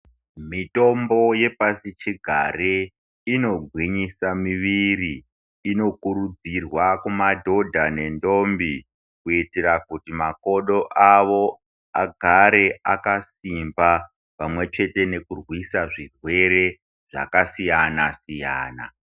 Mitombo yepashi chigare inogwinyisa mimwiri inokurudzirwa kumadhodha nendombi Kuitira kuti makodo awo agare muimba pamwe chete nekurwisa zvirwere zvakasiyana siyana.